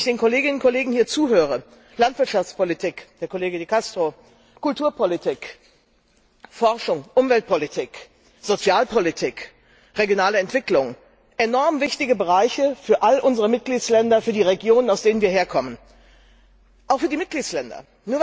Wenn ich den Kolleginnen und Kollegen zuhöre Landwirtschaftspolitik Herr Kollege De Castro Kulturpolitik, Forschung, Umweltpolitik, Sozialpolitik, regionale Entwicklung enorm wichtige Bereiche für all unsere Mitgliedstaaten, für die Regionen, aus denen wir herkommen, auch für die Mitgliedstaaten.